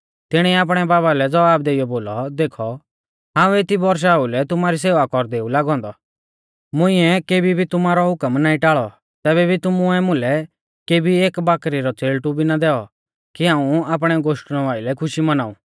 तिणीऐ आपणै बाबा लै ज़वाब देइयौ बोलौ देखौ हाऊं एती बौरशा ओउलै तुमारी सेवा कौरदै ऊ लागौ औन्दौ मुंइऐ केबी भी तुमारौ हुकम नाईं टाल़ी तैबै भी तुमुऐ मुलै केबी एक बाकरी रौ च़ेल़टु भी ना दैऔ कि हाऊं आपणै गोश्टणु आइलै खुशी मौनाऊं